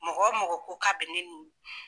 Mɔgɔ mɔgɔ ko ka be ne